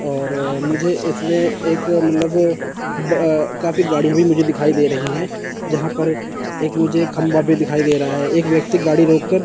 और मुझे इसमें एक मतलब अह काफी गाड़ियां भी मुझे दिखाई दे रही हैं जहां पर एक मुझे खंभा भी दिखाई दे रहा है एक व्यक्ति गाड़ी रोक कर--